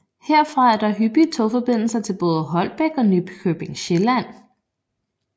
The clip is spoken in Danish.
Herfra er der hyppige togforbindelser til både Holbæk og Nykøbing Sjælland